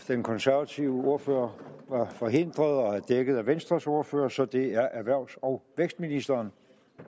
den konservative ordfører var forhindret og er dækket af venstres ordfører så det er erhvervs og vækstministeren